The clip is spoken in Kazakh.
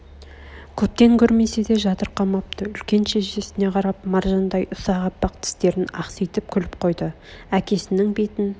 көптен көрмесе де жатырқамапты үлкен шешесіне қарап маржандай ұсақ аппақ тістерн ақситып күліп қойды әкесінің бетін